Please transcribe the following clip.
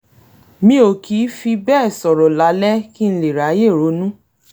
mi ò kì í fi bẹ́ẹ̀ sọ̀rọ̀ lálẹ́ kí n lè ráyè ronú